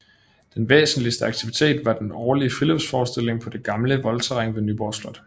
Den væsentligste aktivitet var den årlige friluftsforestilling på det gamle voldterræn ved Nyborg Slot